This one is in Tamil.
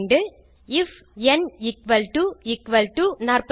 if n equal to equal to 42